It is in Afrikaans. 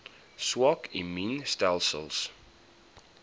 swak immuun stelsels